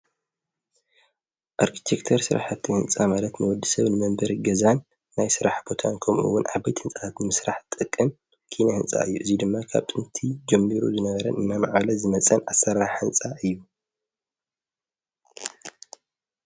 ኣርኪቴክተር ሥራሕተ ሕንፃ ማለት ነወዲ ሰብ ንመንበር ገዛን ናይ ሥራሕ ቦታን ኩምኡውን ዓበይት ሕንጽኣት ምሥራሕ ጥቅን ኪነ ሕንፃ እዩ እዙይ ድማ ኻብ ጥንቲ ጀሚሩ ዝነበረን እና መዓለ ዝመጸን ኣሠራሕ ሕንጻ እዩ።